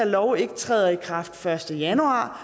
loven træder i kraft den første januar